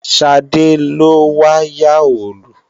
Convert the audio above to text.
Ṣadé ló wá yá Òòlù